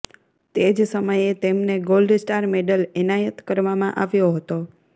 તે જ સમયે તેમને ગોલ્ડ સ્ટાર મેડલ એનાયત કરવામાં આવ્યો હતો